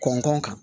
Kɔnkɔn kan